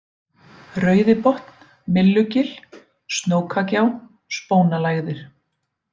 Rauðibotn, Millugil, Snókagjá, Spónalægðir